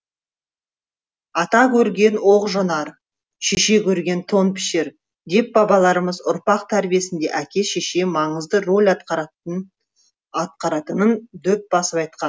ата көрген оқ жонар шеше көрген тон пішер деп бабаларымыз ұрпақ тәрбиесінде әке шеше маңызды роль атқаратынын дөп басып айтқан